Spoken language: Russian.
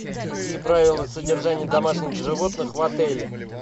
какие правила содержания домашних животных в отеле